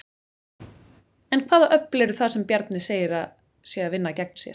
En hvaða öfl eru það sem Bjarni segir að séu að vinna gegn sér?